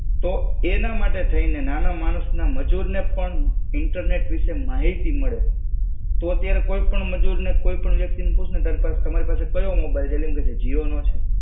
તો એના માટે થઈને નાના માણસ ના મજૂરને પણ ઇન્ટરનેટ વિશે માહિતી મળે, તું અત્યારે કોઈપણ મજૂરને કોઈપણ વ્યક્તિને પૂછને તારી પાસે તમારી પાસે કયો મોબાઈલ છે? એટલે એમ કેસે જીઓનો છે.